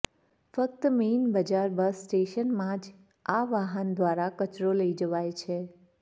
ફ્ક્ત main બજાર bus સ્ટેશનમાં જ આ વાહન દ્વારા કચરો લઈ જવાય છે